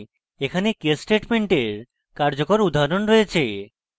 এখানে case স্টেটমেন্টের কার্যকর উদাহরণ রয়েছে